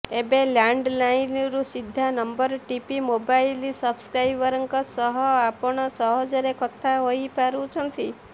ଏବେ ଲ୍ୟାଣ୍ଡଲାଇନରୁ ସିଧା ନମ୍ବର ଟିପି ମୋବାଇଲ ସବସ୍କ୍ରାଇବରଙ୍କ ସହ ଆପଣ ସହଜରେ କଥା ହୋଇପାରୁଛନ୍ତି